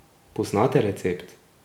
Poznate recept?